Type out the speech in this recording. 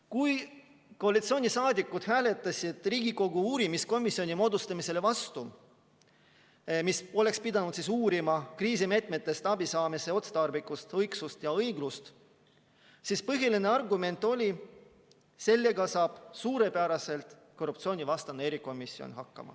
Kui koalitsiooniliikmed hääletasid Riigikogu uurimiskomisjoni moodustamise vastu – see komisjon oleks pidanud uurima kriisimeetmetest abi saamise otstarbekust, õigsust ja õiglust –, siis oli põhiline argument, et sellega saab suurepäraselt hakkama korruptsioonivastane erikomisjon.